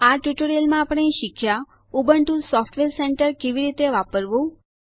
આ ટ્યુટોરીયલમાં આપણે શીખ્યા ઉબુન્ટુ સોફ્ટવેર સેન્ટર કેવી રીતે વાપરવું